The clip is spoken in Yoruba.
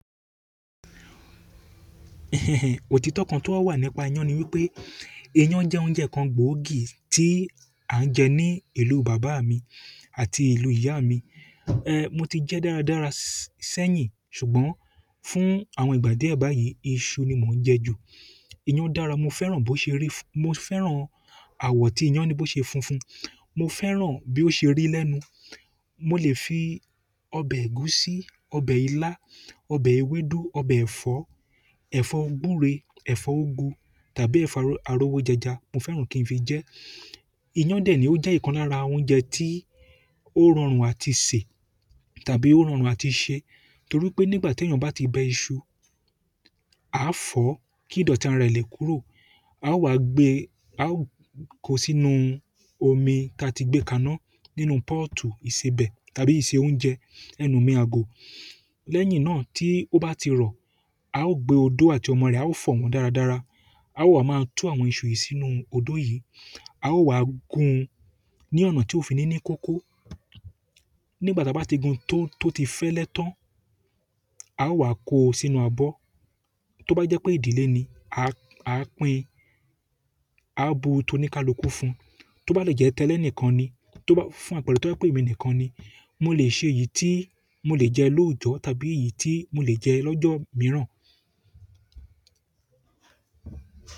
Òtítọ́ kan tó wà nípa iyán ni wípé, iyán jẹ́ oúnjẹ kan gbòógì tí à ń jẹ ní ìlú bàbá mi àti ìlú ìyá mi. Ehn, mo ti jẹ dára dára sẹ́yìn ṣùgbọ́n fún àwọn ìgbà díẹ̀ báyìí, iṣu ni mò ń jẹ ju. Iyán dára mo fẹ́ràn bó ṣe rí, mo fẹ́ràn àwọ̀ tí iyán ní bó ṣe funfun, mo fẹ́ràn bí ó ṣe rí lẹ́nu. Mo lè fi ọbẹ̀ ẹ̀gúsí, ọbẹ̀ ilá, ọbẹ̀ ewédú, ọbẹ̀ ẹ̀fọ́, ẹ̀fọ́ gúre, ẹ̀fọ́ úgú tàbí ẹ̀fọ́ arówó jẹjá, mo fẹ́ràn kí n fi jẹ ẹ́. Iyan de ni o je ikan lára oúnjẹ ti o rọrùn àti se tàbí o rọrùn àti se to ri ti eyan ba ti bẹ isu a fọ̀ kí ìdọ̀tí rẹ̀ lè kúrò. A ó wá gbe, a ó kó sí inú omi tí a ti gbé kà náà nínú pọ́ọ̀tù ìsebẹ̀ tàbí ìse oúnjẹ, ẹnu mi ago. Lẹ́yìn náà tí ó bá ti rọ, a ó gbé odó àti ọmọ rẹ̀, a ó fọ̀ wọ́n dára dára. A ó wá máa tú àwọn iṣu yìí sínú odó yìí. A ó wá gún un ní ọ̀nà tí ó fi ní ní kókó. Nígbà tí a bá ti gun tó, tó ti fẹ́lẹ́ tán, a ó wá kó o sínú abọ́. Tó bá jẹ́ pé ìdílé ni, a, a pín, a ó bu tó ní ká lọ kú fún. Tó bá lè jẹ́ tẹ́lẹ̀ nìkan ni, tó bá fún àpẹ̀rẹ̀ tó ba je pé émi nìkan ni. Mo lè ṣe èyí tí mo lè jẹ lóójọ́ tàbí èyí tí mo lè jẹ lọ́jọ́ mìíràn.